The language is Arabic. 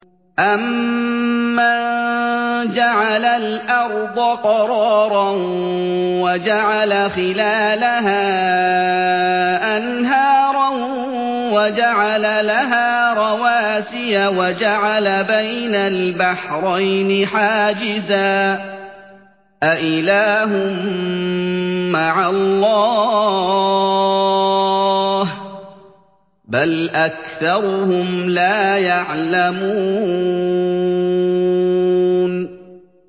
أَمَّن جَعَلَ الْأَرْضَ قَرَارًا وَجَعَلَ خِلَالَهَا أَنْهَارًا وَجَعَلَ لَهَا رَوَاسِيَ وَجَعَلَ بَيْنَ الْبَحْرَيْنِ حَاجِزًا ۗ أَإِلَٰهٌ مَّعَ اللَّهِ ۚ بَلْ أَكْثَرُهُمْ لَا يَعْلَمُونَ